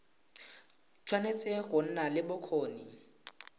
tshwanetse go nna le bokgoni